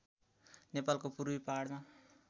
नेपालको पूर्वी पहाडमा